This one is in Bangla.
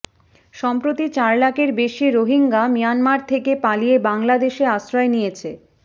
সম্প্রতি চার লাখের বেশি রোহিঙ্গা মিয়ানমার থেকে পালিয়ে বাংলাদেশে আশ্রয় নিয়েছে